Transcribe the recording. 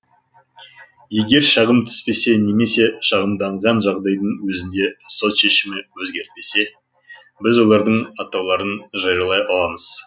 егер шағым түспесе немесе шағымданған жағдайдың өзінде сот шешімі өзгертпесе біз олардың атауларын жариялай аламыз